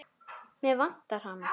Mig vantar hana.